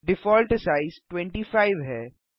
default size 25 है